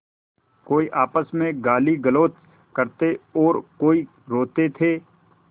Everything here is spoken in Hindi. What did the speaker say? कोई आपस में गालीगलौज करते और कोई रोते थे